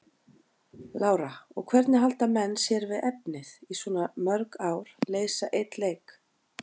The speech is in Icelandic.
Lára: Og hvernig halda menn sé við efnið í svona mörg ár, leysa einn leik?